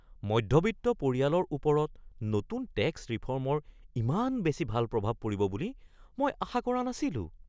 মধ্যবিত্ত পৰিয়ালৰ ওপৰত নতুন টেক্স ৰিফৰ্মৰ ইমান বেছি ভাল প্ৰভাৱ পৰিব বুলি মই আশা কৰা নাছিলোঁ।